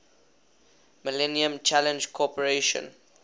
millennium challenge corporation